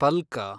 ಪಲ್ಕ